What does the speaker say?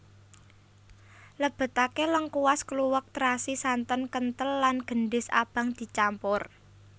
Lebetake lengkuas kluwek terasi santen kentel lan gendhis abang dicampur